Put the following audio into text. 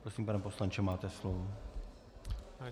Prosím, pane poslanče, máte slovo.